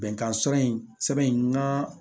Bɛnkan sɛbɛn in sɛbɛn in ka